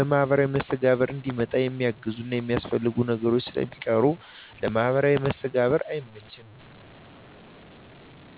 ለማህበራዊ መስተጋብር እንዲመጣ የሚያግዙና የሚያስፈልጉ ነገሮች ስለሚቀሩ ለማህበራዊ መስተጋብር አይመችም።